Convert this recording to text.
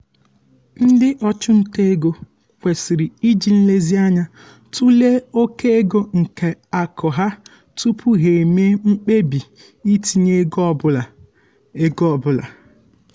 ndị ọchụnta ego kwesịrị iji nlezianya tụlee oke ego nke akụ ha tupu ha eme um mkpebi itinye ego ọ bụla. ego ọ bụla.